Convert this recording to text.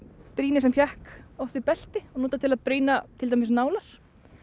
brýni sem hékk oft við belti notað til að brýna til dæmis nálar